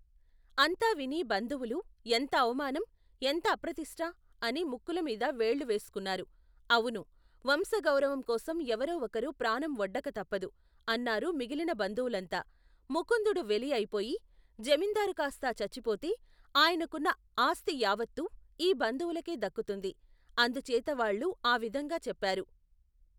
అంతా విని బంధువులు, ఎంత అవమానం ! ఎంత అప్రతిష్ఠ! అని ముక్కుల మీద వేళ్ళు వేసుకున్నారు. అవును! వంశగౌరవం కోసం ఎవరో ఒకరు ప్రాణం ఒడ్డక తప్పదు ! అన్నారు మిగిలిన బంధువులంతా. ముకుందుడు వెలి అయిపోయి, జమీందారు కాస్తా చచ్చిపోతే ఆయనకున్న ఆస్తి యావత్తూ ఈ బంధువులకే దక్కుతుంది. అందుచేత వాళ్ళు ఆ విధంగా చెప్పారు.